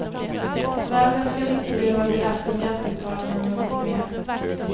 Varvet skall inte behöva belasta skattebetalarna något mer.